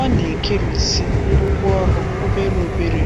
Ọ na-ekerisị nnukwu ọrụ obere obere